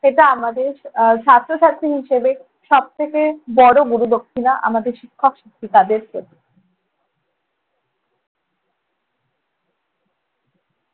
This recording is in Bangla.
এটা আমাদের আহ ছাত্র ছাত্রী হিসেবে সবথেকে বড় গুরুদক্ষিণা আমাদের শিক্ষক শিক্ষিকাদের প্রতি।